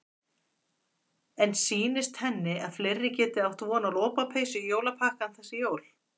En sýnist henni að fleiri geti átt von á lopapeysu í jólapakkann þessi jólin?